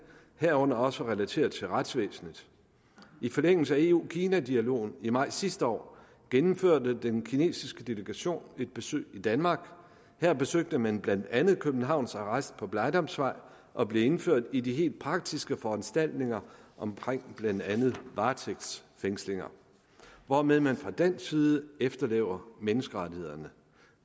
herunder også relateret til retsvæsenet i forlængelse af eu kina dialogen i maj sidste år gennemførte den kinesiske delegation et besøg i danmark her besøgte man blandt andet københavns arrest på blegdamsvej og blev indført i de helt praktiske foranstaltninger omkring blandt andet varetægtsfængslinger hvormed man fra dansk side efterlever menneskerettighederne